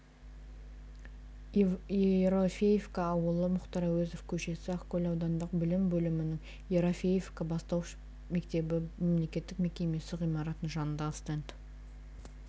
ерофеевка ауылы мұхтар әуезов көшесі ақкөл аудандық білім бөлімінің ерофеевка бастауыш мектебі мемлекеттік мекемесі ғимаратының жанындағы стенд